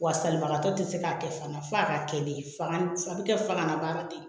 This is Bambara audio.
Wa salibagatɔ tɛ se k'a kɛ fana f'a ka kɛ de faga bɛ kɛ faga na baara de